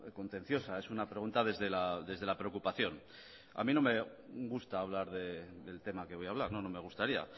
contenciosa es una pregunta desde la preocupación a mí no me gusta hablar del tema que voy a hablar no no me gustaría